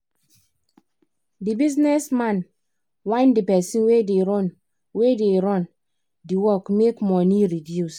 the business man whine the person wey da run wey da run d work make money reduce